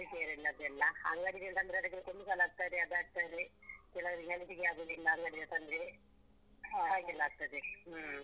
Vegetarian ದೆಲ್ಲಾ ಅಂಗಡಿಯಿಂದ ತಂದ್ರೆ ಅದಕ್ಕೆ chemical ಹಾಕ್ತಾರೆ ಅದು ಹಾಕ್ತಾರೆ ಕೆಲವರಿಗೆ health ಗೆ ಆಗುದಿಲ್ಲ ಅಂಗಡಿಯಿಂದ ತಂದ್ರೆ. ಹಾಗೆಲ್ಲ ಆಗ್ತದೆ ಹ್ಮ್.